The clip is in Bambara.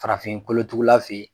Farafin kolotugula fɛ yen